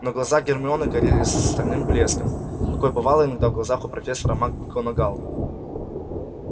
но глаза гермионы горели стальным блеском какой бывал иногда в глазах у профессора макгонагалл